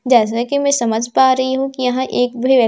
जैसे कि मैं समझ पा रही हूं कि यहां एक भी व--